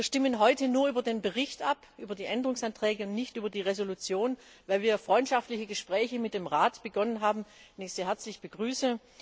Wir stimmen heute nur über den Bericht ab, über die Änderungsanträge und nicht über die Entschließung, weil wir freundschaftliche Gespräche mit dem Rat begonnen haben, den ich sehr herzlich begrüße.